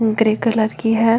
Grey colour की है।